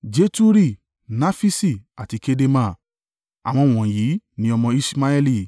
Jeturi, Nafiṣi, àti Kedema. Àwọn wọ̀nyí ni ọmọ Iṣmaeli.